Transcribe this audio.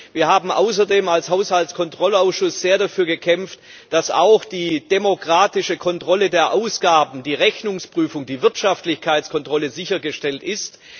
Wir haben außerdem als Haushaltskontrollausschuss sehr dafür gekämpft, dass auch die demokratische Kontrolle der Ausgaben die Rechnungsprüfung, die Wirtschaftlichkeitskontrolle sichergestellt ist.